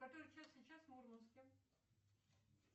который час сейчас в мурманске